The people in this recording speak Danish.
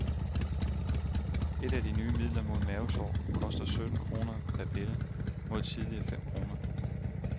Et af de nye midler mod mavesår koster sytten kroner per pille mod tidligere fem kroner.